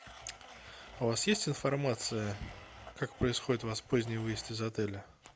у вас есть информация как происходит у вас поздний выезд из отеля